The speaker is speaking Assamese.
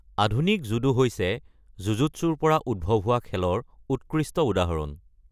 আধুনিক জুডো হৈছে জুজুটছুৰ পৰা উদ্ভৱ হোৱা খেলৰ উৎকৃষ্ট উদাহৰণ।